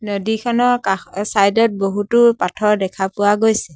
নদীখনৰ কাষ অ চাইড ত বহুতো পাথৰ দেখা পোৱা গৈছে।